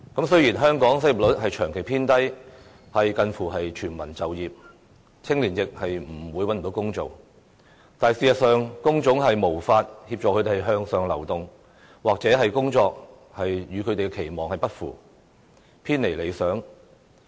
雖然香港失業率長期偏低，近乎全民就業，青年亦不會找不到工作，但事實上，工種卻無法協助他們向上流動，又或者工作與他們的期望不符，偏離理想。